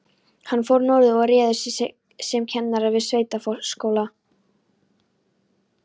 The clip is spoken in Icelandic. Hann fór norður og réði sig sem kennara við sveitaskóla.